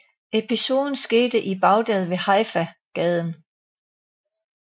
Episoden skete i Baghdad ved Haifa gaden